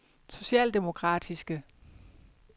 socialdemokratiske